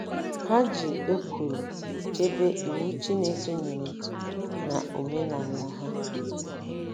um Ha ji ekworo chebe Iwu Chineke nyere na omenala ha.